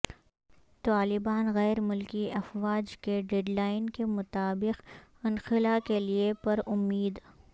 طالبان غیر ملکی افواج کے ڈیڈ لائن کے مطابق انخلا کے لیے پر امید